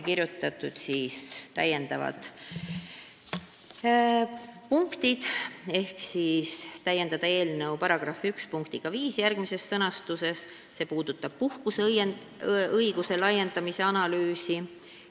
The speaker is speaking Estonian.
On ettepanek täiendada eelnõu § 1 punktiga 5, mis puudutab puhkuseõiguse laiendamise analüüsi.